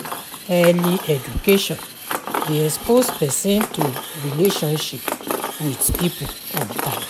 early education de expose persin to relationship with pipo on time